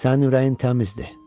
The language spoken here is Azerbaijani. Sənin ürəyin təmizdir.